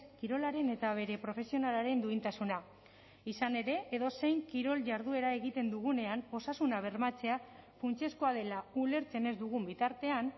kirolaren eta bere profesionalaren duintasuna izan ere edozein kirol jarduera egiten dugunean osasuna bermatzea funtsezkoa dela ulertzen ez dugun bitartean